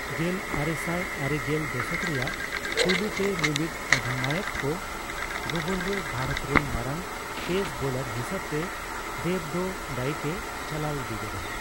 ᱜᱮᱞ ᱟᱨᱮᱥᱟᱭ ᱟᱨᱮᱜᱮᱞ ᱼᱫᱚᱥᱚᱠ ᱨᱮᱭᱟᱜ ᱯᱩᱭᱞᱩ ᱛᱮ ᱢᱤᱢᱤᱫ ᱚᱫᱷᱤᱱᱟᱭᱚᱠ ᱠᱚ ᱜᱚᱵᱚᱞ ᱨᱮ ᱵᱷᱟᱨᱚᱛ ᱨᱮᱱ ᱢᱟᱨᱟᱝ ᱯᱮᱥ ᱵᱚᱞᱟᱨ ᱦᱤᱥᱟᱹᱵ ᱛᱮ ᱫᱮᱵ ᱫᱚ ᱫᱟᱹᱭᱤᱠᱼᱮ ᱪᱟᱞᱟᱣ ᱤᱫᱤ ᱠᱮᱫᱟ᱾